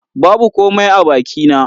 Babu komai a bakina